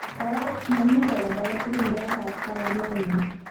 Kora mami rekod age tugul nebo kastakanetnnyi.